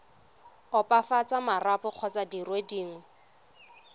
opafatsa marapo kgotsa dire dingwe